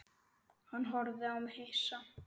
Hann horfði á mig hissa.